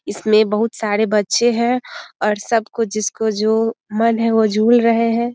इसमें बहुत सारे बच्चे हैं और सबको जिसको जो मन है वो झूल रहें हैं।